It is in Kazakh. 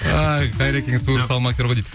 қайрекең суырып салма актер ғой дейді